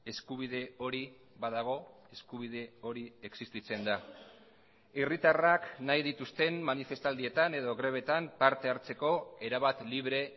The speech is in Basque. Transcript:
eskubide hori badago eskubide hori existitzen da herritarrak nahi dituzten manifestaldietan edo grebetan parte hartzeko erabat libre